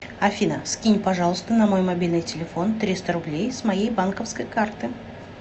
афина скинь пожалуйста на мой мобильный телефон триста рублей с моей банковской карты